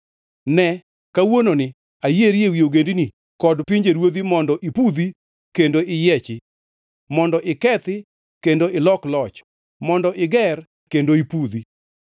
Ne, kawuononi ayieri ewi ogendini kod pinjeruodhi mondo ipudhi kendo iyiechi, mondo ikethi kendo ilok loch, mondo iger kendo ipudhi.”